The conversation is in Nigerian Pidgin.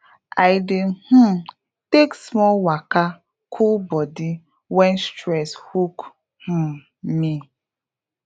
i dey um take small waka cool body when stress hook um me